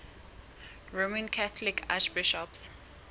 roman catholic archbishops